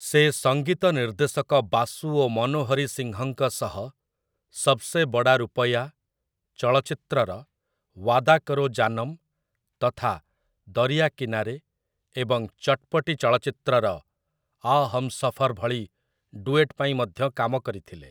ସେ ସଙ୍ଗୀତ ନିର୍ଦ୍ଦେଶକ ବାସୁ ଓ ମନୋହରୀ ସିଂହଙ୍କ ସହ 'ସବ୍‌ସେ ବଡ଼ା ରୁପୟା' ଚଳଚ୍ଚିତ୍ରର 'ଓ୍ୱାଦା କରୋ ଜାନମ୍' ତଥା 'ଦରିଆ କିନାରେ' ଏବଂ 'ଚଟ୍‌ପଟି' ଚଳଚ୍ଚିତ୍ରର 'ଆ ହମ୍‌ସଫର୍' ଭଳି ଡୁଏଟ୍ ପାଇଁ ମଧ୍ୟ କାମ କରିଥିଲେ ।